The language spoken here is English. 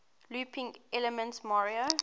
looping elements mario